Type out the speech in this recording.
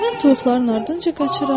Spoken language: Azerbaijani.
Mən toyuqların ardınca qaçıram.